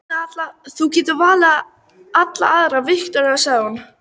Þú getur valið allar aðrar, Viktoría, sagði hún.